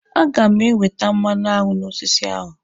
A ga m ewete mmanụaṅụ n'osisi ahụ.